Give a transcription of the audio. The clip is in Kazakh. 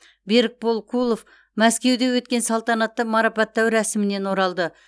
берікбол кулов мәскеуде өткен салтанатты марапаттау рәсімінен оралды